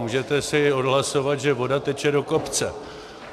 Můžete si odhlasovat, že voda teče do kopce.